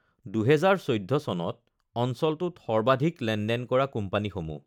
২০১৪ চনত অঞ্চলটোত সৰ্বাধিক লেনদেন কৰা কোম্পানীসমূহঃ